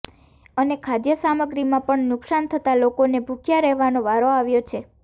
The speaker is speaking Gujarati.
અને ખાદ્ય સામગ્રીમાં પણ નુકસાન થતા લોકોને ભૂખ્યા રહેવાનો વારો આવ્યો છે